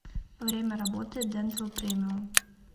время работы дентал премиум